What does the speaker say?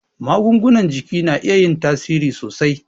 Magungunan jiki na iya yin tasiri sosai